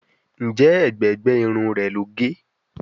Njé ègbé gbé Irun rẹ ló gé?